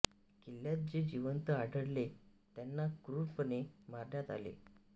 किल्ल्यात जे जिवंत आढळले त्यांना क्रूरपणे मारण्यात आले